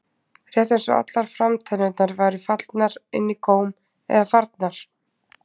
Rétt eins og allar framtennurnar væru fallnar inn í góm eða farnar.